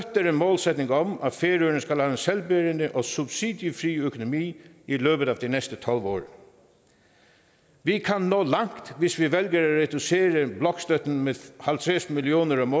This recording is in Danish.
en målsætning om at færøerne skal have en selvbærende og subsidiefri økonomi i løbet af de næste tolv år vi kan nå langt hvis vi vælger at reducere blokstøtten med halvtreds millioner om